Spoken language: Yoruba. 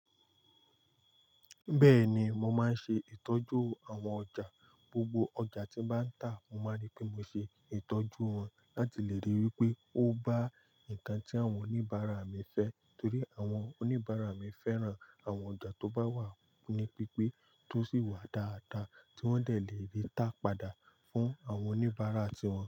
Bẹ́ẹ̀ni, mo máa ń ṣe ìtọ́jú àwọn ọjà. Gbogbo ọjà tí bá ń tà, mo máa rí pé mo ṣe ìtọ́jú wọn láti lè ríi wípé o bá nǹkan tí àwọn oníbàárà mi fẹ́ torí àwọn oníbàárà mi fẹ́ran àwọn ọjà tó bá wà ní pípé tó sì wà dáadáa tí wọ́n lè rí tá padà fún àwọn oníbàárà tí wọn.